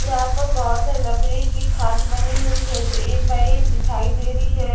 यहां पर बहोत सा लकड़ी की खाट बनी हुई है जो एक बाई एक दिखाई दे रही है।